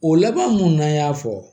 O laban mun n'an y'a fɔ